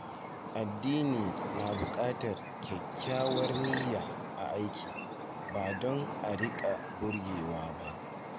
Addini na buƙatar kyakkyawar niyya a aiki, ba don a riƙa burge wa ba.